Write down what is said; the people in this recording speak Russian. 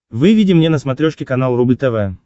выведи мне на смотрешке канал рубль тв